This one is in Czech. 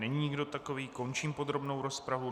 Není nikdo takový, končím podrobnou rozpravu.